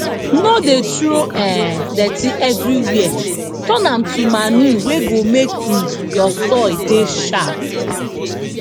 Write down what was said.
no dey throw um dirty everywhere turn am to manure wey go make um your soil dey sharp